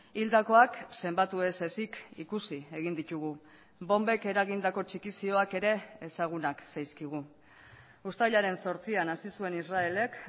hildakoak zenbatu ez ezik ikusi egin ditugu bonbek eragindako txikizioak ere ezagunak zaizkigu uztailaren zortzian hasi zuen israelek